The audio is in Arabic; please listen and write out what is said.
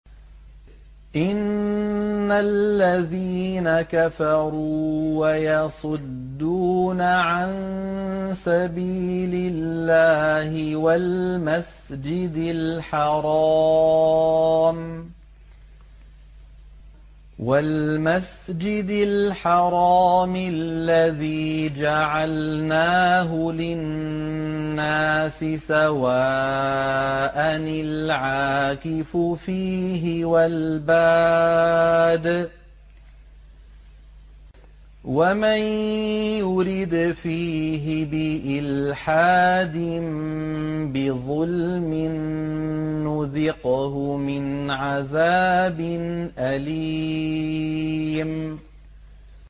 إِنَّ الَّذِينَ كَفَرُوا وَيَصُدُّونَ عَن سَبِيلِ اللَّهِ وَالْمَسْجِدِ الْحَرَامِ الَّذِي جَعَلْنَاهُ لِلنَّاسِ سَوَاءً الْعَاكِفُ فِيهِ وَالْبَادِ ۚ وَمَن يُرِدْ فِيهِ بِإِلْحَادٍ بِظُلْمٍ نُّذِقْهُ مِنْ عَذَابٍ أَلِيمٍ